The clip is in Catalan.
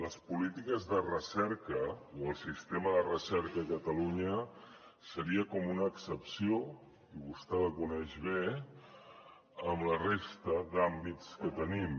les polítiques de recerca o el sistema de recerca a catalunya seria com una excepció i vostè la coneix bé amb la resta d’àmbits que tenim